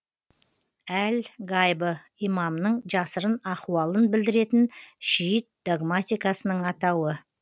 әл гайбы имамның жасырын ахуалын білдіретін шиит догматикасының атауы